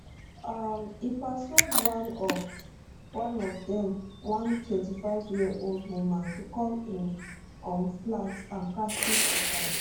um e persuade one of one of dem one 25yearold woman to come im um flat and practise suicide